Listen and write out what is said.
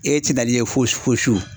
E tɛna i ye fo su.